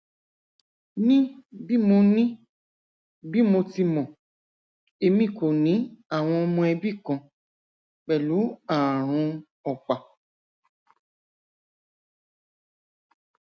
ni bi mo ni bi mo ti mọ emi ko ni awọn ọmọ ẹbi kan pẹlu aarun ọpa